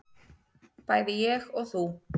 bæði ég og þú.